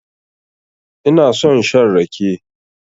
Ina son shan rake.